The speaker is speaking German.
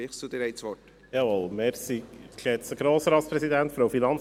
Kommissionspräsident der FiKo.